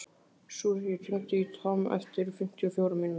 Susie, hringdu í Tom eftir fimmtíu og fjórar mínútur.